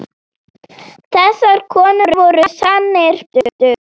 Þessar konur voru sannir bændur.